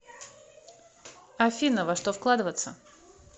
афина во что вкладываться